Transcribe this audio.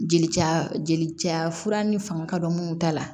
Jeli ca jeli ja fura ni fanga ka dɔgɔ minnu ta la